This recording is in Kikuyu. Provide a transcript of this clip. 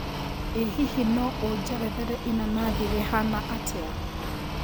ĩ hihi no ũjerethere ĩnanathî rĩhana atĩa